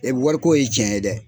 E wariko ye tiɲɛ ye dɛ!